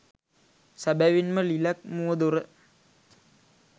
සැබවින්ම ලිලැක් මුවදොර